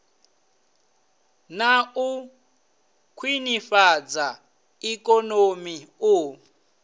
na u khwinifhadza ikonomi u